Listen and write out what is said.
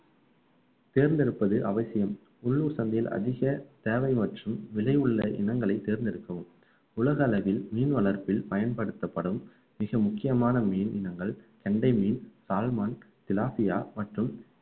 தேர்ந்தெடுப்பது அவசியம் உள்ளூர் சந்தையில் அதிக தேவை மற்றும் விலை உள்ள இனங்களை தேர்ந்தெடுக்கவும் உலக அளவில் மீன் வளர்ப்பில் பயன்படுத்தப்படும் மிக முக்கியமான மீன் இனங்கள் கெண்டை மீன், சால்மான், சிலபியா மற்றும்